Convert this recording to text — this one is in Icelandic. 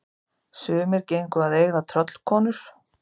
Sumir gengu að eiga tröllkonur.